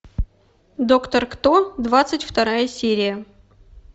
доктор кто двадцать вторая серия